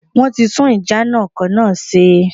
Wọ́n ti tún ìjánu ọkò náà se